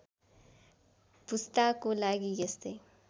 पुस्ताको लागि यस्तै